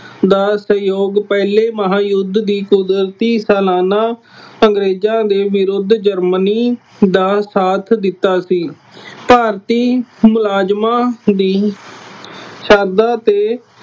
ਦਾ ਸਹਿਯੋਗ ਪਹਿਲੇ ਮਹਾਂਯੁੱਧ ਦੀ ਕੁਦਰਤੀ ਸਲਾਨਾ ਅੰਗਰੇਜ਼ਾਂ ਦੇ ਵਿਰੁੱਧ ਜਰਮਨੀ ਦਾ ਸਾਥ ਦਿੱਤਾ ਸੀ। ਭਾਰਤੀ ਮੁਲਾਜ਼ਮਾਂ ਦੀ ਸ਼ਰਧਾ ਤੇ